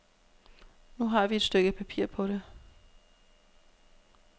Nu har vi et stykke papir på det.